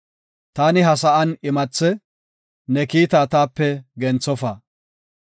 Taani ha sa7an imathe; ne kiita taape genthofa.